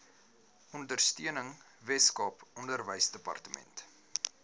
ondersteuning weskaap onderwysdepartement